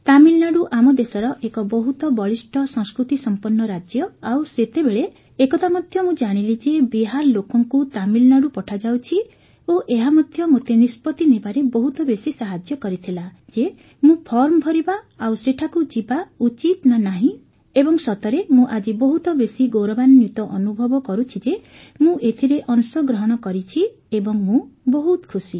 ତାମିଲନାଡୁ ଆମ ଦେଶର ଏକ ବହୁତ ବଳିଷ୍ଠ ସଂସ୍କୃତିସମ୍ପନ୍ନ ରାଜ୍ୟ ଆଉ ସେତେବେଳେ ଏକଥା ମଧ୍ୟ ମୁଁ ଜାଣିଲି ଯେ ବିହାର ଲୋକଙ୍କୁ ତାମିଲନାଡୁ ପଠାଯାଉଛି ଓ ଏହା ମଧ୍ୟ ମୋତେ ନିଷ୍ପତ୍ତି ନେବାରେ ବହୁତ ବେଶୀ ସାହାଯ୍ୟ କରିଥିଲା ଯେ ମୁଁ ଫର୍ମ ଭରିବା ଆଉ ସେଠାକୁ ଯିବା ଉଚିତ ନା ନାହିଁ ଏବଂ ମୁଁ ସତରେ ଆଜି ବହୁତ ବେଶୀ ଗୌରବାନ୍ୱିତ ଅନୁଭବ କରୁଛି ଯେ ମୁଁ ଏଥିରେ ଅଂଶଗ୍ରହଣ କରିଛି ଏବଂ ମୁଁ ବହୁତ ଖୁସି